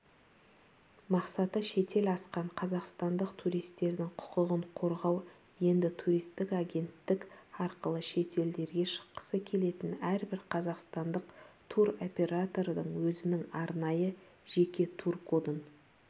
мақсаты шетел асқан қазақстандық туристердің құқығын қорғау енді туристік агенттік арқылы шетелдерге шыққысы келетін әрбір қазақстандық туроператордан өзінің арнайы жеке тур-кодын